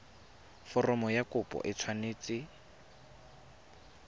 foromo ya kopo e tshwanetse